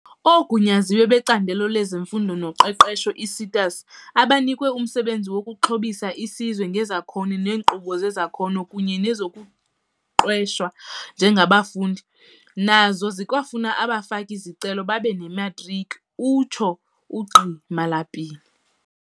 "OoGunyaziwe beCandelo lezeMfundo noQeqesho, ii-SETAs, abanikwe umsebenzi wokuxhobisa isizwe ngezakhono ngeenkqubo zezakhono kunye nezokuqeshwa njengabafundi, nazo zikwafuna abafaki-zicelo babe nematriki," utsho uGqi Malapile.